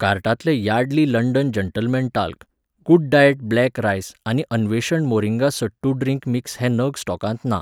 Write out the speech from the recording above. कार्टांतले Yardley London gentleman talc, good diet black rice आनी अन्वेषण मोरिंगा सट्टू ड्रिंक मिक्स हे नग स्टॉकांत ना